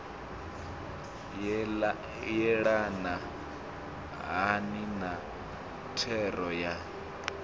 yelana hani na thero ya